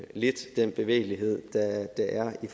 lidt den bevægelighed der er i